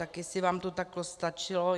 Tak jestli vám to takto stačilo?